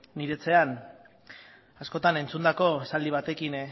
nire etxean askotan entzundako esaldi batekin